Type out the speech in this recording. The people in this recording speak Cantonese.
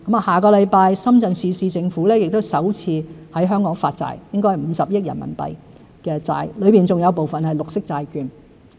下星期，深圳市政府亦會首次在香港發債，應該是50億元人民幣的債券，當中有部分是綠色債券。